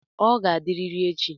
Ọ ga-adịrịrị echi.